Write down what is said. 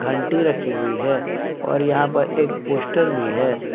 घंटी रखी हुई है और यहां पर एक पोस्टर भी है।